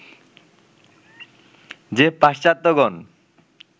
যে পাশ্চাত্ত্যগণ